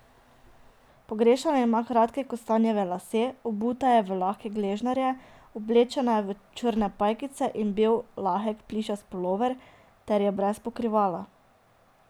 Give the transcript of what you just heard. Pogrešana ima kratke kostanjeve lase, obuta je v lahke gležnjarje, oblečena je v črne pajkice in bel lahek plišast pulover ter je brez pokrivala.